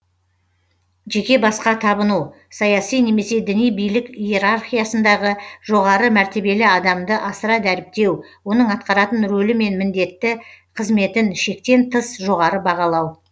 жеке басқа табыну саяси немесе діни билік иерархиясындағы жоғары мәртебелі адамды асыра дәріптеу оның атқаратын рөлі мен міндетті қызметін шектен тыс жоғары бағалау